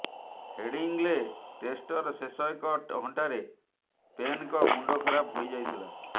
Headingley ଟେଷ୍ଟର ଶେଷ ଏକ ଘଣ୍ଟାରେ ପେନ୍ଙ୍କ ମୁଣ୍ଡ ଖରାପ ହୋଇ ଯାଇଥିଲା